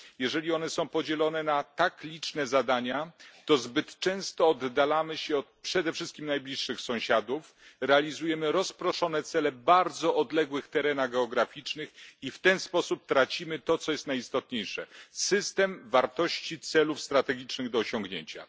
Jeżeli one są podzielone na tak liczne zadania, to zbyt często oddalamy się od przede wszystkim najbliższych sąsiadów, realizujemy rozproszone cele w bardzo odległych terenach geograficznych i w ten sposób tracimy to, co jest najistotniejsze system wartości celów strategicznych do osiągnięcia.